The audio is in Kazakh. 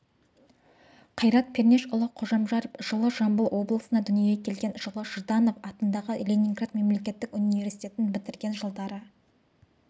қайрат пернешұлы қожамжаров жылы жамбыл облысында дүниеге келген жылы жданов атындағы ленинград мемлекеттік университетін бітірген жылдары